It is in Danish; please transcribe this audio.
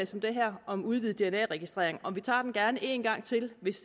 som det her om udvidet dna registrering og vi tager den gerne en gang til hvis